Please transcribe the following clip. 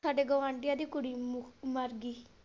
ਸਾਡੇ ਗਵਾਂਢੀਆਂ ਦੀ ਕੁੜੀ ਮਰਗੀ।